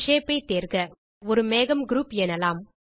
ஒரு ஷேப் ஐ தேர்க ஒரு மேகம் குரூப் எனலாம்